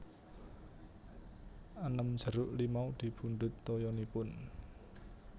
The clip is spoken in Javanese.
enem jeruk limau dipundhut toyanipun